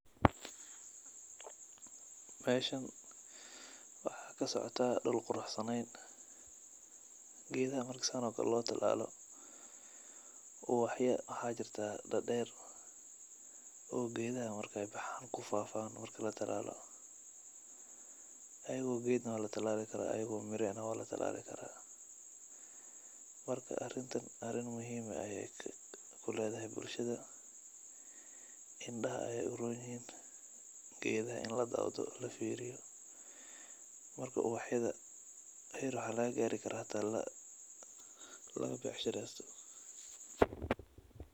Meshan waxaa kasocotah dhul quraxsaneyn . Gedaha marki san oo kale lotalalo ubaxya waxaa jirtah dader oo gedaha markay baxan kufafan marki latalalo, ayag oo ged na waltalali karaah , ayag oo mira eh na walatalali karah. Marka arintan arin muhim eh ay kuledahay bulshada, indaha ay uronyihin gedaha in ladawdho lafiriyo, marka ubaxyada her waxa lagagari karaah hata lagabecsharesto